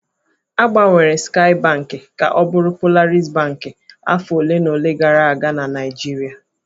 A gbanwere Skaị Bankị ka ọ bụrụ Polaris Bankị afọ ole na ole gara aga na Naịjirịa.